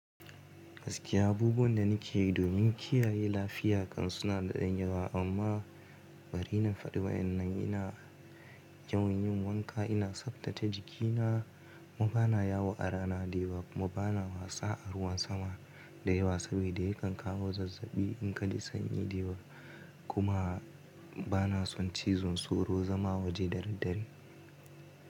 Gaskiya, abubuwan da nake yi domin kiyaye lafiya kan suna da ɗan yawa amma bari na faɗi wa wayannan ina yawan yin wanka ina tsaftace jikina, kuma bana yawo a rana da yawa kuma bana wasa a ruwan sama da yawa sabida ya kan kawo zazzabi in kaji sanyi da yawa kuma bana son cizon tsoro zama waje dadaddare.